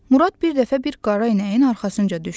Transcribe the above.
Murad bir dəfə bir qara inəyin arxasınca düşdü.